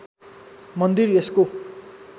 मन्दिर यसको